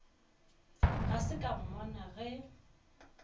ga se ka mmona ge